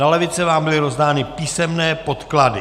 Na lavice vám byly rozdány písemné podklady.